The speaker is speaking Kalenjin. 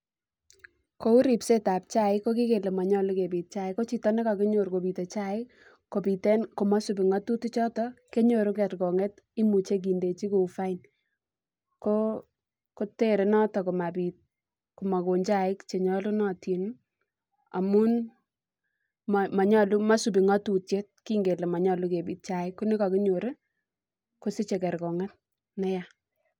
Kou ripsetab chaik kokikele manyolu kebit chaik ko chito nekokinyor kobit komosipi ng'atutik choton ii konyoru kerkong'et imuche kindechi kou fine koo kotere noton komabit komakon chaik choton chenyolunotin ii amun mosipi ng'atutiet kingen kele manyolu kebit chaik konekokinyor ii kosiche kerkong'et neyaa.